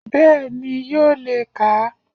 Bẹ́ẹ̀ni yóò le kà a